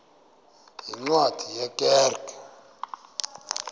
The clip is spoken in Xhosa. yeencwadi ye kerk